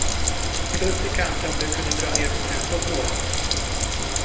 Plus i kanten om du kunde dra ner på tempot något.